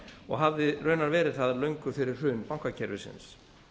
og hafði raunar verið það löngu fyrir hrun bankakerfisins